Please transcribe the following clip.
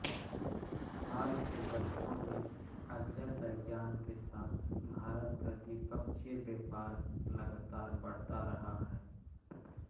हाल के वर्षों में अज़रबैजान के साथ भारत का द्विपक्षीय व्यापार लगातार बढ़ रहा है